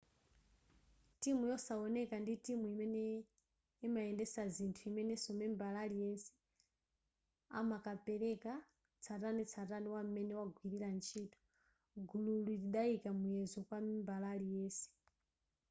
timu yosawoneka ndi timu imene imayendetsa zinthu imenenso membala aliyense amakapeleka tsatanetsatane wa m'mene wagwilira ntchito gululi lidayika muyezo kwa membala aliyense